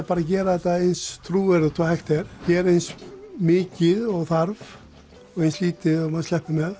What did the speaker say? bara að gera þetta eins trúverðugt og hægt er gera eins mikið og þarf og eins lítið og maður sleppur með